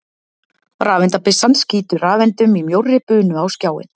Rafeindabyssan skýtur rafeindum í mjórri bunu á skjáinn.